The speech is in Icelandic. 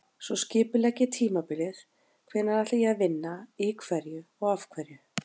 Svo skipulegg ég tímabilið, hvenær ætla ég að vinna í hverju og af hverju?